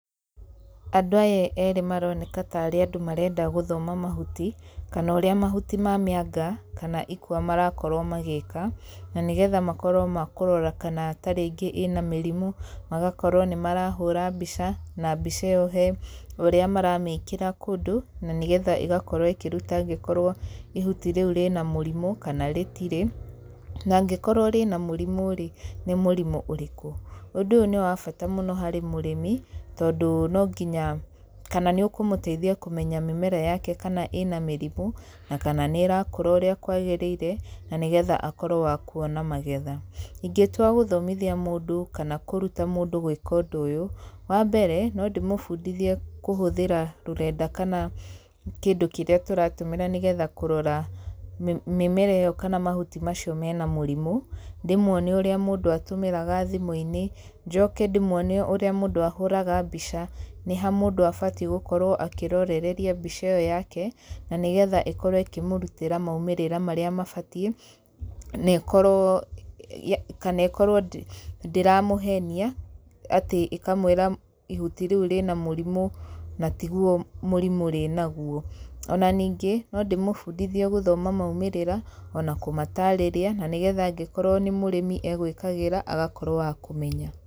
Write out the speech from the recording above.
Andũ aya eerĩ maroneka ta aarĩ andũ marenda gũthoma mahuti, kana ũrĩa mahuti ma mĩanga kana ikwa marakorwo magĩĩka, na nĩgetha makorwo ma kũrora kana tarĩngĩ ĩna mĩrimũ, magakorwo nĩ marahũra mbica, na mbica ĩyo he ũrĩa maramĩkĩra kũndũ, na nĩgetha ĩgakorwo ĩkĩruta angĩkorwo ihuti rĩu rĩna mũrimũ, kana rĩtirĩ. Na angĩrwo rĩna mũrimũ rĩ nĩ mũrĩmũ ũrĩkũ. Ũndũ ũyũ nĩ wa bata mũno harĩ mũrĩmi, tondũ no nginya kana nĩ ũkũmũteithia kũmenya mĩmera yake kana ĩna mĩrimũ, na kana nĩ ĩrakũra ũrĩa kwagĩrĩire, na nĩgetha akorwo wa kuona magetha. Ingĩtua gũthomithia mũndũ, kana kũruta mũndũ gwĩka ũndũ ũyũ, wa mbere, no ndĩmũbundithie kũhũthĩra rũrenda kana kĩndũ kĩrĩa tũratũmĩra nĩgetha kũrora mĩmera ĩyo kana mahuti macio mena mũrimũ, ndĩmuonie ũrĩa mũndũ atũmĩraga thimũ-inĩ, njoke ndĩmuonie ũrĩa mũndũ ahũraga mbica, nĩha mũndũ abati gũkorwo akĩrorereria mbica ĩyo yake, na nĩgetha ĩkorwo ĩkĩmũrutĩra maumĩrĩra marĩa mabatiĩ, na ĩkorwo kana ĩkorwo ndĩramũhenia, atĩ ĩkamũĩra ihuti rĩu rĩna mũrimũ, na tiguo mũrimũ rĩnaguo. Ona ningĩ, no ndĩmũbundithie gũthoma maumĩrĩra, ona kũmatarĩria, na nĩgetha angĩkorwo nĩ mũrĩmi egũĩkagĩra, agakorwo wa kũmenya.